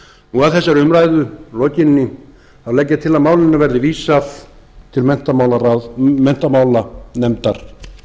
og að þessari umræðu lokinni þá legg ég til að málinu verði vísað til menntamálanefndar